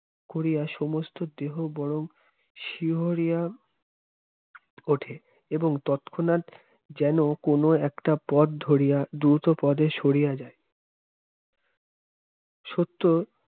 করিয়া সমস্ত দেহ বরং শিহরিয়া উঠে এবং তৎক্ষণাৎ যেন কোন একটা পথ ধরিয়া দ্রুতপদে সরিয়া যায় সত্য